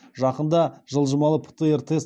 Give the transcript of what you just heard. жақында жылжымалы птр тест